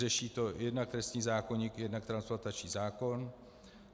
Řeší to jednak trestní zákoník, jednak transplantační zákon.